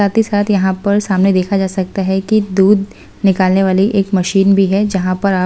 साथ ही साथ यहां पर सामने देखा जा सकता है कि दूध निकालने वाली एक मशीन भी है जहां पर आप--